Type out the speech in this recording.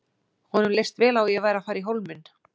Honum leist vel á að ég væri að fara í Hólminn.